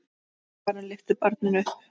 Karen lyftir barninu upp.